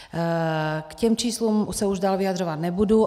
K těm číslům se už dál vyjadřovat nebudu.